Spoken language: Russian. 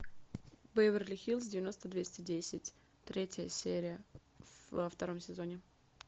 беверли хиллз девяносто двести десять третья серия во втором сезоне